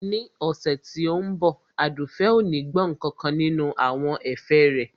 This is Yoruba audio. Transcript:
Ní ọ̀sẹ̀ tí ó ń bọ̀ Àdùfẹ̀ ò ní gbọ́ nkankan nínú àwọn ẹ̀fẹ̀ rẹ